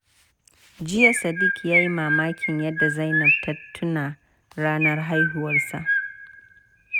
Jiya, Sadiq ya yi mamakin yadda Zainab ta tuna ranar haihuwarsa.